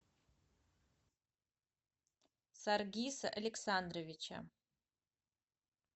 саргиса александровича